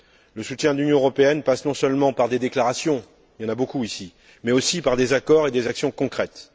Le soutien de l'Union européenne passe non seulement par des déclarations il y en a beaucoup ici mais aussi par des accords et des actions concrètes.